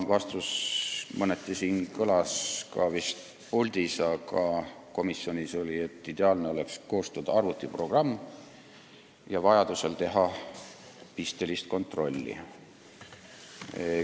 Vastus vist kõlas mõneti ka siin puldis, aga komisjonis oli jutuks, et ideaalne oleks koostada arvutiprogramm ja vajadusel teha pistelist kontrolli.